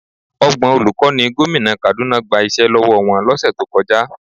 Ọgbọ̀n olùkọ́ ni gómìnà Kaduna gba iṣẹ́ lọ́wọ́ wọn lọ́sẹ̀ tó kọjá.